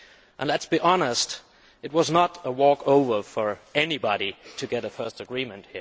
and let us be honest it was not a walkover for anybody to get a first agreement.